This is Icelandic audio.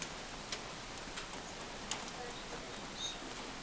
Vinkona mín þekkir hann.